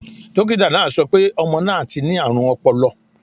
Dókítà náà sọ pé ọmọ náà ti ní àrùn ọpọlọ.